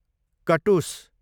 कटुस